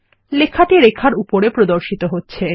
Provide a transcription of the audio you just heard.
লেখাটি রেখার উপরে প্রদর্শিত হচ্ছে